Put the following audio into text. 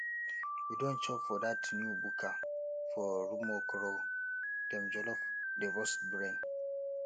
you don chop for dat new buka for rumuokoro dem jollof dey burst brain